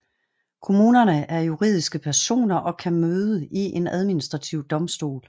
Kommunerne er juridiske personer og kan møde i en administrativ domstol